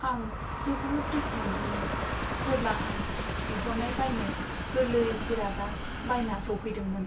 आं जोबोद दुखु मोनदोंमोन, जेब्ला आं बिहरनाय बायनो गोरलै जिरादआ बायना सौफैदोंमोन।